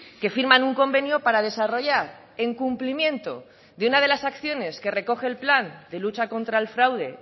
que firman un convenio para desarrollar en cumplimiento de una de las acciones que recoge el plan de lucha contra el fraude